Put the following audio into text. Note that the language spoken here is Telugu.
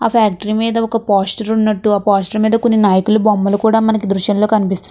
ఆ ఫ్యాక్టరీ మీద ఒక పోస్టర్ ఉన్నట్టు ఆ పోస్టర్ మీద కొన్ని నాయకుల బొమ్మలు కూడ మనకి దృశ్యంలో కనిపిస్.